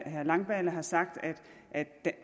herre langballe har sagt at